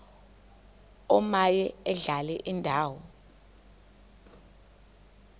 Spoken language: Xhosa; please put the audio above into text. omaye adlale indawo